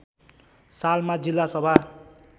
सालमा जिल्ला सभा